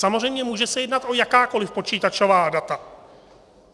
Samozřejmě se může jednat o jakákoliv počítačová data.